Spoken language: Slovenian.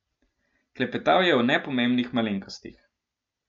Klepetal je o nepomembnih malenkostih.